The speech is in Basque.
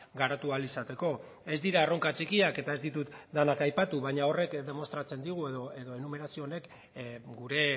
garatu ahal izateko ez dira erronka txikiak eta ez ditut denak aipatu baina horrek demostratzen digu edo enumerazio honek gure